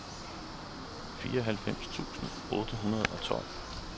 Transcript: fireoghalvfems tusind otte hundrede og tolv